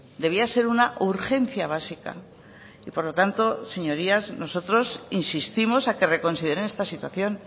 debía ser una urgencia básica y por lo tanto señorías nosotros insistimos a que reconsideren esta situación